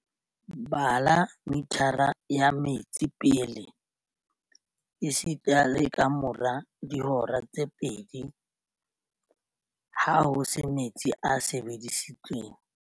Bala mithara ya metsi pele esita le kamora dihora tse pedi, ha ho se metsi a sebedisitsweng.